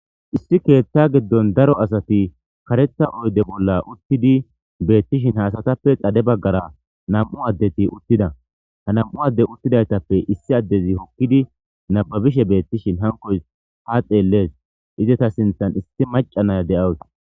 issi keethta giddon daro asati karetha oyde bolla uttidi beettishin haasatappe qade baggara nam7u addeti uttida ha nam7u adde uttidaytappe issi addezi hokkidi nababishe beettishin hankoys ha xeellees izeta sinthan isti maca naya de7iyageti.